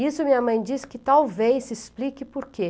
Isso minha mãe disse que talvez se explique por quê.